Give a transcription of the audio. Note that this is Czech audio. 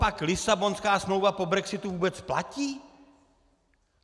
Copak Lisabonská smlouva po brexitu vůbec platí?